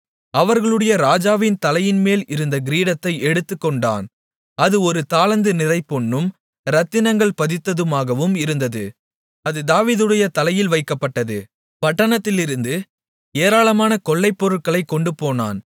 அவர்களுடைய ராஜாவின் தலையின்மேல் இருந்த கிரீடத்தை எடுத்துக்கொண்டான் அது ஒரு தாலந்து நிறைபொன்னும் இரத்தினங்கள் பதித்ததுமாகவும் இருந்தது அது தாவீதுடைய தலையில் வைக்கப்பட்டது பட்டணத்திலிருந்து ஏராளமான கொள்ளைப்பொருட்களைக் கொண்டுபோனான்